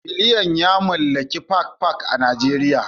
Biliyan ya mallaki Park Park a Najeriya